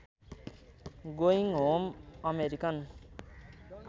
going home American